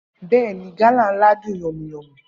Bẹẹni, gala nla dun yànmu-yànmu